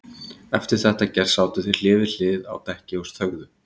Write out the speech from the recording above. Eftir þetta gert sátu þeir hlið við hlið á dekki og þögðu.